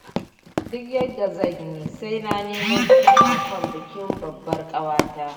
Duk yadda zan yi sai na nemo kudin ankon bikin babbar ƙawata